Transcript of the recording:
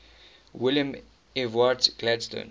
william ewart gladstone